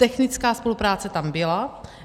Technická spolupráce tam byla.